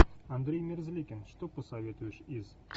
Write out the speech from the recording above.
андрей мерзликин что посоветуешь из